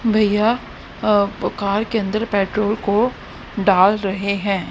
भैया अ कार के अंदर पेट्रोल को डाल रहे हैं।